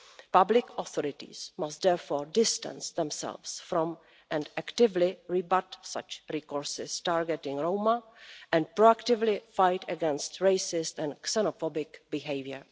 Public authorities must distance themselves from, and actively rebut, such discourses targeting Roma, and proactively fight against racist and xenophobic behaviour.